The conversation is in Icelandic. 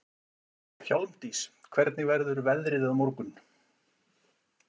Hjálmdís, hvernig verður veðrið á morgun?